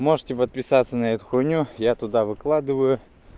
можете подписаться на эту хуйню я туда выкладываю